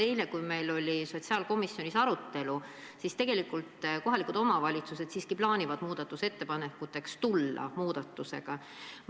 Eile, kui meil oli sotsiaalkomisjonis arutelu, siis selgus, et tegelikult kohalikud omavalitsused siiski plaanivad tulla muudatusettepanekutega.